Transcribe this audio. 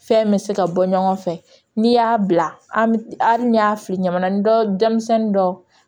Fɛn bɛ se ka bɔ ɲɔgɔn fɛ n'i y'a bila a ni y'a fili ɲamanin dɔ denmisɛnnin dɔ